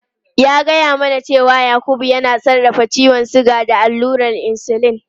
Ya gaya mana cewa Yakubu yana sarrafa ciwon suga da allurar insulin.